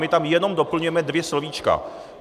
My tam jenom doplňujeme dvě slovíčka.